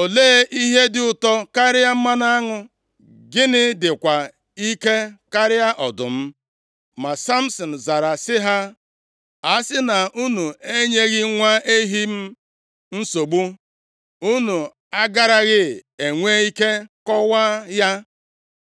“Olee ihe dị ụtọ karịa mmanụ aṅụ? Gịnị dịkwa ike karịa ọdụm?” Ma Samsin zara sị ha, “A sị na unu enyeghị nwa ehi m nsogbu, unu agaraghị enwe ike kọwaa ya.”